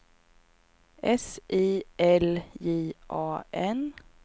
S I L J A N